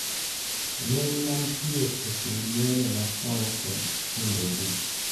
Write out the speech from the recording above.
Lweny mantie e kind yore machon kod kindegi